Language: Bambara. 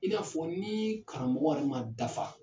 I n'a fɔ ni karamɔgɔ yɛrɛ man dafa.